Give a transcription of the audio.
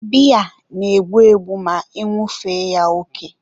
biya na-egbu egbu ma añụfee ya oke.